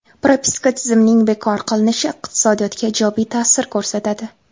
Propiska tizimining bekor qilinishi iqtisodiyotga ijobiy ta’sir ko‘rsatadi.